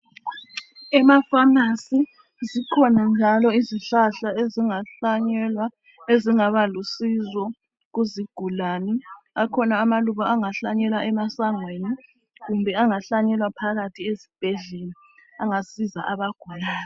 Emapharmacy zikhona njalo izihlahla ezingahlanyelwa ezingaba lusizo kuzigulane. Akhona amaluba angahlanyelwa emasangweni kumbe angahlanyelwa phakathi esibhedlela angasiza abagulayo.